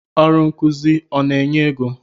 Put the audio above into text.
Ọrụ nkụzi ọ na-enye égo?